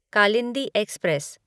Kalindi express